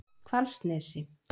Hvalsnesi